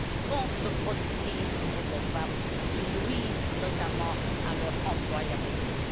contreproductives pour les femmes, qui nuisent notamment à leur employabilité.